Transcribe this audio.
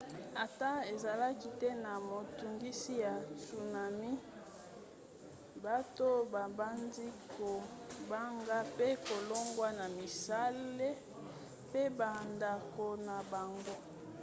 ata ezalaki te na motungisi ya tsunami bato babandaki kobanga pe kolongwa na misala pe bandako na bango